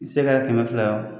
I se kɛra kɛmɛ fila ye wo.